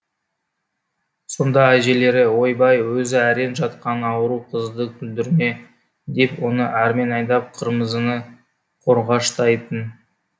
сонда әжелері ойбай өзі әрең жатқан ауру қызды күлдірме деп оны әрмен айдап қырмызыны қорғаштайтын